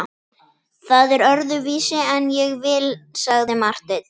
Það er öðruvísi en ég vil, sagði Marteinn.